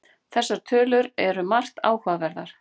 Þessar tölur eru margt áhugaverðar